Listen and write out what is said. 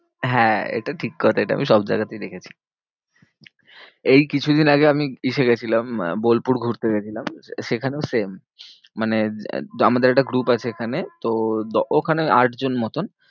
হ্যাঁ এটা ঠিক কথা এটা আমি সব জায়গাতেই দেখেছি। এই কিছু দিন আগে আমি ইসে গেছিলাম বোলপুর ঘুরতে গেছিলাম সেখানেও same. মানে আমাদের একটা group আছে এখানে তো ওখানে আট জন মতন